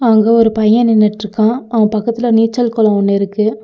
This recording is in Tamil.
அங்க ஒரு பைய நின்னுட்ருக்கா அவ பக்கத்துல நீச்சல் கொளோ ஒன்னு இருக்கு.